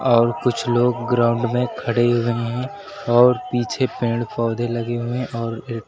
और कुछ लोग ग्राउंड में खड़े हुए हैं और पीछे पेड़ पौधे लगे हुए हैं और--